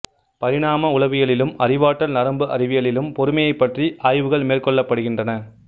பரிணாம உளவியலிலும் அறிவாற்றல் நரம்பு அறிவியலிலும் பொறுமையைப் பற்றி ஆய்வுகள் மேற்கொள்ளப்படுகின்றன